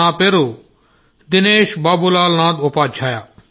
నా పేరు దినేష్ బాబూల్ నాథ్ ఉపాధ్యాయ